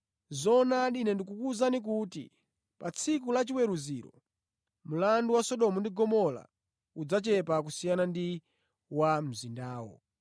Zoonadi, Ine ndikuwuzani kuti pa tsiku lachiweruziro, mlandu wa Sodomu ndi Gomora udzachepa kusiyana ndi wa mzindawo.